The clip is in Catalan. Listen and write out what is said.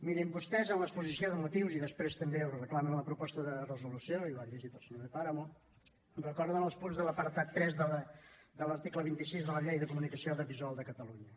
mirin vostès a l’exposició de motius i després també ho reclamen a la proposta de resolució i ho ha llegit el senyor de páramo recorden els punts de l’apartat tres de l’article vint sis de la llei de la comunicació audiovisual de catalunya